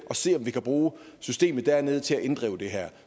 og ser om vi kan bruge systemet dernede til at inddrive den her